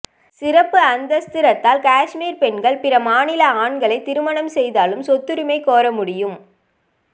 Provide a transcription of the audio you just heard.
சிறப்பு அந்தஸ்து ரத்தால் காஷ்மீர் பெண்கள் பிற மாநில ஆண்களை திருமணம் செய்தாலும் சொத்துரிமை கோர முடியும்